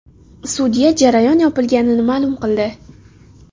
Sudya jarayon yopilganini ma’lum qildi.